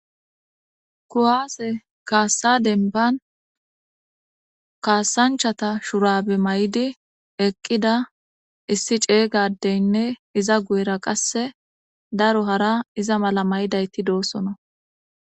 Kuwaase kaassa denban kaasanchata shurabe may7di eqqida issi ceeygadeynne iza guyera qasse daro hara iza mala maydayti doosona.